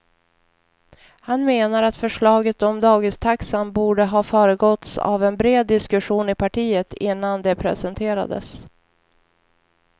Han menar att förslaget om dagistaxan borde ha föregåtts av en bred diskussion i partiet innan det presenterades.